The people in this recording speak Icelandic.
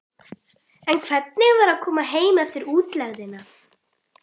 En hvernig var að koma heim eftir útlegðina?